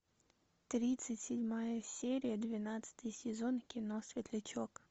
тридцать седьмая серия двенадцатый сезон кино светлячок